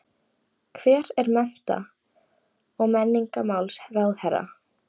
Hver er mennta- og menningarmálaráðherra?